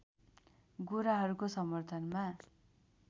गोराहरूको समर्थनमा